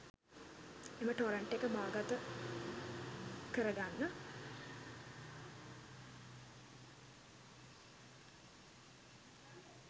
එම ටොරන්ට් එක බාගත කරගන්න.